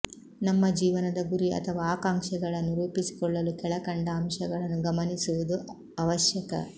ನಮ್ಮ ಜೀವನದ ಗುರಿ ಅಥವಾ ಆಕಾಂಕ್ಷೆಗಳನ್ನು ರೂಪಿಸಿಕೊಳ್ಳಲು ಕೆಳಕಂಡ ಅಂಶಗಳನ್ನು ಗಮನಿಸುವುದು ಅವಶ್ಯಕ